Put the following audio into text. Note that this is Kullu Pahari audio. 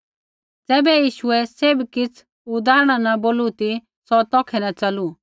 ज़ैबै यीशुऐ सैभ किछ़ उदाहरणा न बोलू ती सौ तौखै न च़लू